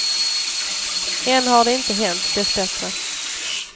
Än har det inte hänt, dessbättre.